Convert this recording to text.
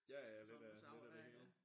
Ja ja lidt af lidt af det hele